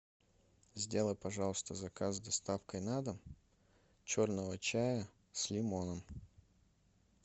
сделай пожалуйста заказ с доставкой на дом черного чая с лимоном